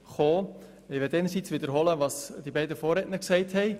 Ich möchte einerseits wiederholen, was die beiden Vorredner gesagt haben.